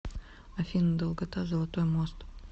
афина долгота золотой мост